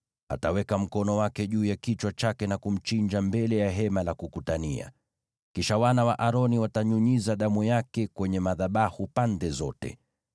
Ataweka mkono wake juu ya kichwa chake na kumchinja mbele ya Hema la Kukutania. Kisha wana wa Aroni watanyunyiza damu yake kwenye madhabahu pande zote.